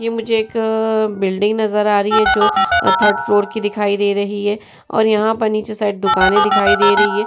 तो मुझे एक बिल्डिंग नजर आ रही है जो थर्ड फ्लोर की दिखाई दे रही है और यहां नीचे शायद मुझे दुकान दिख रही है।